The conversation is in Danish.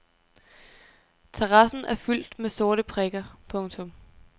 Terrassen er fyldt med sorte prikker. punktum